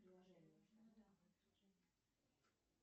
афина квадратный корень из ста сорока четырех